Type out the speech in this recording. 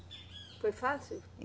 Foi fácil?